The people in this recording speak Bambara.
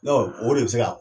o de se ka